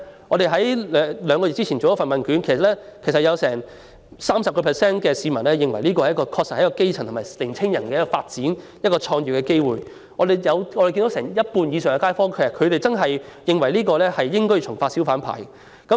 我們在兩個月前曾進行問卷調查，結果有多達 30% 受訪者認為這是基層人士及年青人發展及創業的機會，有超過半數受訪者認為應重發小販牌照。